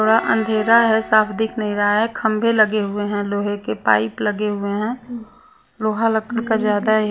थोड़ा अंधेरा है साफ दिख नहीं रहा है खंबे लगे हुए हैं लोहे के पाइप लगे हुए हैं लोहा लकड़ का ज्यादा ही --